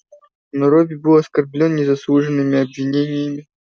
но робби был оскорблён незаслуженными обвинениями